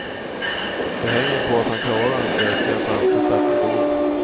Det hänger på att han klarar den stökiga franska startmetoden.